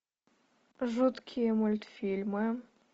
жуткие мультфильмы